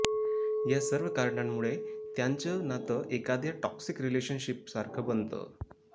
या सर्व कारणांमुळे त्यांचं नातं एकाद्या टॉक्सिक रिलेशनशीप सारखं बनतं